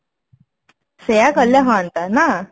ସେଇଆ କଲେ ହୁଆନ୍ତା ନା